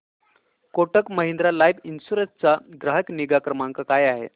Kotak Mahindra life insurance चा ग्राहक निगा क्रमांक काय आहे